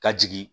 Ka jigin